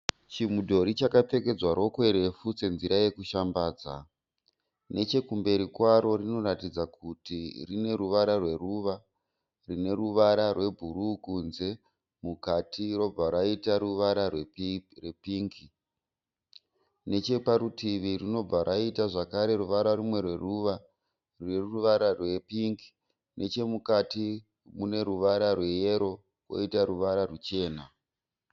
Chimudhori chakapfekedzwa rokwe refu senzira yekushambadza . Nechekumberi kwaro rinoratidza kuti rine ruvara rwe ruva , rine ruvara rwe bhuruu kunze mukati robva raita ruvara rwe pingi. Necheparutivi runobva raita zvakare ruvara rumwe zve rwe ruva neruvara rwe pingi. Nechemukati mune ruvara rwe yero koita ruvara ruchena.